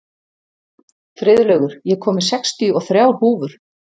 Friðlaugur, ég kom með sextíu og þrjár húfur!